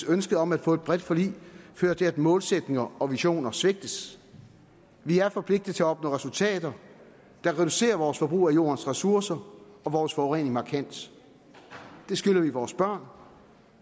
ønsket om at få et bredt forlig fører til at målsætninger og visioner svigtes vi er forpligtet til at opnå resultater der reducerer vores forbrug af jordens ressourcer og vores forurening markant det skylder vi vores børn